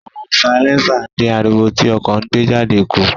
Awọn silẹnsa din ariwo ti ọkọ ńgbejade ku.